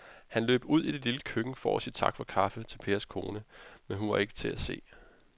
Han løb ud i det lille køkken for at sige tak for kaffe til Pers kone, men hun var ikke til at se.